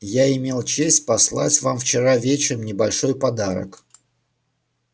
я имел честь послать вам вчера вечером небольшой подарок